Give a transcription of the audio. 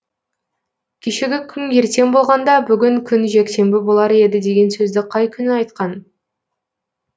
кешегі күн ертең болғанда бүгін күн жексенбі болар еді деген сөзді қай күні айтқан